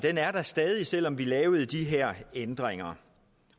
er der stadig selv om vi lavede de her ændringer